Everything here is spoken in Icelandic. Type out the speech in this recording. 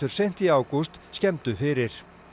seint í ágúst skemmdu fyrir